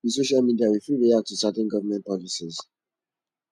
with social media we fit react to certain government policies